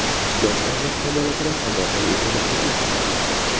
yosh avlod kamolotida hamohang ekani ta’kidlandi.